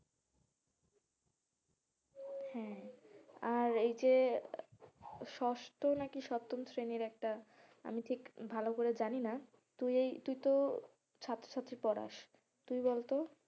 হ্যাঁ, আর এইযে ষষ্ঠ নাকি সপ্তম শ্রেণীর একটা আমি ঠিক ভালো করে জানি না তুই এই তুই তো ছাত্র ছাত্রী পড়াস তুই বলতো,